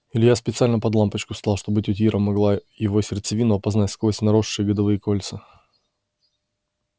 илья специально под лампочку встал чтобы тётя ира могла его сердцевину опознать сквозь наросшие годовые кольца